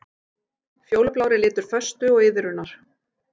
Fjólublár er litur föstu og iðrunar.